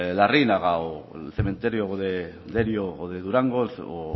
larrinaga o el cementerio de derio o de durango o